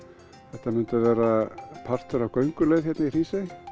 þetta myndi verða partur af gönguleið í Hrísey